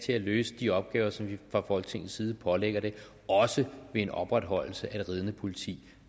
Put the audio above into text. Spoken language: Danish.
til at løse de opgaver som vi fra folketingets side pålægger det også ved en opretholdelse af det ridende politi